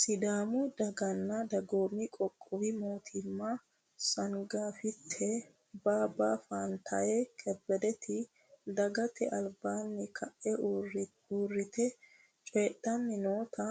Sidaamu daganna dagoomi qoqqowi mootima songaffitte baabba faantaye kebbedeti dagate albaanni kae uurritecoydhanni noota